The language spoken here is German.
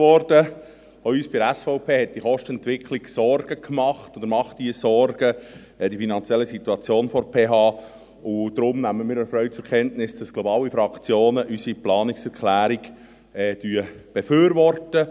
Auch uns von der SVP machen diese Kostenentwicklung und die finanzielle Situation der PH Sorgen, und darum nehmen wir erfreut zur Kenntnis, dass – glaube ich – alle Fraktionen unsere Planungserklärung befürworten.